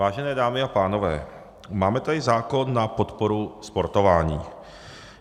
Vážené dámy a pánové, máme tady zákon na podporu sportování.